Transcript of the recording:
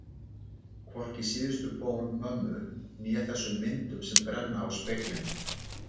Hvorki síðustu bón mömmu né þessum myndum sem brenna í speglinum.